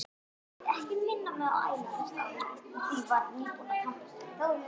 Augun ásaka mig.